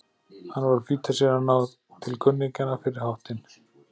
Hann var að flýta sér að ná til kunningjanna fyrir háttinn.